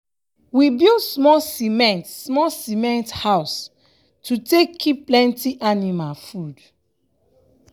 we build smol cement smol cement house to take kip plenty anima food.